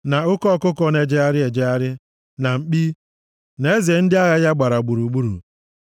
na oke ọkụkọ na-ejegharị ejegharị, na mkpi, na eze ndị agha ya gbara gburugburu.